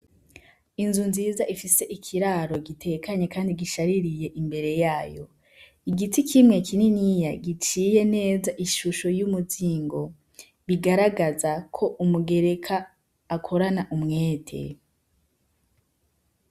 Inzu nziza ifise ikiraro gitekanye kandi gishaririye imbere yayo, igiti kimwe kininiya giciye neza ishusho y'umuzingo bigaragazako umugereka akorana umwete.